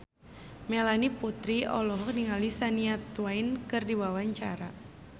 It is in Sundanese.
Melanie Putri olohok ningali Shania Twain keur diwawancara